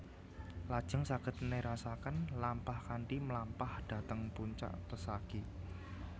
Lajeng saged nerasaken lampah kanthi mlampah dhateng puncak pesagi